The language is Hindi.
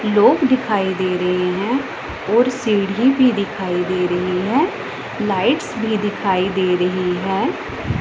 लोग दिखाई दे रहे हैं और सीढ़ी भी दिखाई दे रही है लाइट्स भी दिखाई दे रही है।